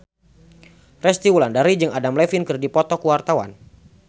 Resty Wulandari jeung Adam Levine keur dipoto ku wartawan